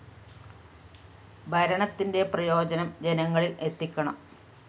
ഭരണത്തിന്റെ പ്രയോജനം ജനങ്ങളില്‍ എത്തിക്കണം